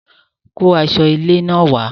Kó aṣọ ilé náà wàá